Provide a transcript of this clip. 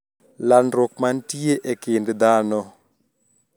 Landruok mantie e kind dhano